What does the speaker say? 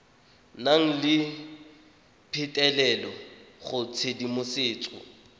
nang le phitlhelelo go tshedimosetso